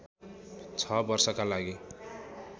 ६ वर्षका लागि